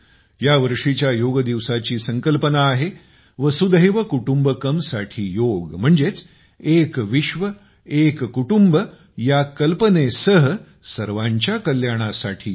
या वर्षीच्या योग दिवसाची संकल्पना आहे वसुधैव कुटुंबकमसाठी योग म्हणजेच एक विश्वएक कुटुंब या कल्पनेसह सर्वांच्या कल्याणासाठी योग